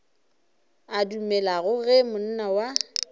a dumelago ge monna wa